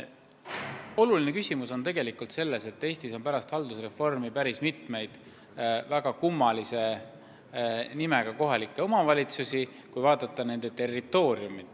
Oluline küsimus on tegelikult see, et Eestis on pärast haldusreformi tekkinud päris mitu territooriumi poolest väga kummalist kohalikku omavalitsust.